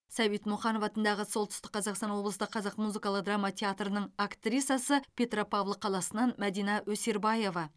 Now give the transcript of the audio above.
сәбит мұқанов атындағы солтүстік қазақстан облыстық қазақ музыкалық драма театрының актрисасы петропавл қаласынан мәдина өсербаева